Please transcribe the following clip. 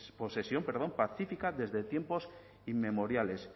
posesión pacífica desde tiempos inmemoriales